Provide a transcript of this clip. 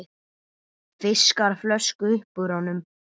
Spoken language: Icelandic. Fiskar flösku upp úr honum.